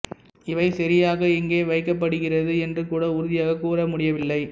இவை சரியாக இங்கே வைக்கப்படுகிறது என்று கூட உறுதியாகக் கூற முடியவில்லை